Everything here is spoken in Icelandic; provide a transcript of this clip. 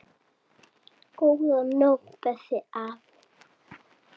Góða nótt, besti afi.